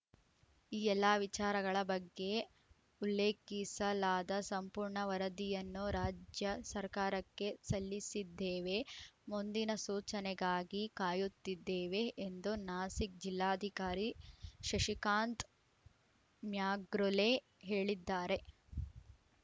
ಈ ಎಲ್ಲ ವಿಚಾರಗಳ ಬಗ್ಗೆ ಉಲ್ಲೇಖಿಸಲಾದ ಸಂಪೂರ್ಣ ವರದಿಯನ್ನು ರಾಜ್ಯ ಸರ್ಕಾರಕ್ಕೆ ಸಲ್ಲಿಸಿದ್ದೇವೆ ಮುಂದಿನ ಸೂಚನೆಗಾಗಿ ಕಾಯುತ್ತಿದ್ದೇವೆ ಎಂದು ನಾಸಿಕ್‌ ಜಿಲ್ಲಾಧಿಕಾರಿ ಶಶಿಕಾಂತ್‌ ಮ್ಯಾಗ್ರುಲೆ ಹೇಳಿದ್ದಾರೆ